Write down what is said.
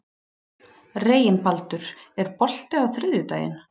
Reginbaldur, er bolti á þriðjudaginn?